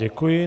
Děkuji.